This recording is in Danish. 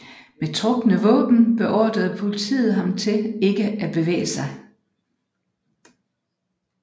Med trukne våben beordrer politiet ham til ikke at bevæge sig